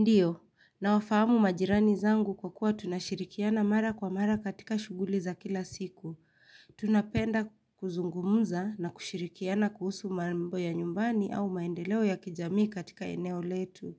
Ndiyo, nawafamu majirani zangu kwa kuwa tunashirikiana mara kwa mara katika shuguli za kila siku. Tunapenda kuzungumuza na kushirikiana kuhusu marimbo ya nyumbani au maendeleo ya kijamii katika eneo letu.